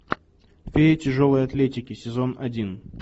фея тяжелой атлетики сезон один